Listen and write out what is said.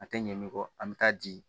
A tɛ ɲɛ min kɔ an bɛ taa di